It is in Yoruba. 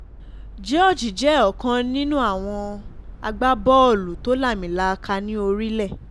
george jẹ́ ọ̀kan nínú nínú àwọn agbábọ́ọ̀lù tó lámilaaka ní orílẹ̀